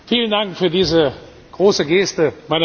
Vielen Dank für diese große Geste!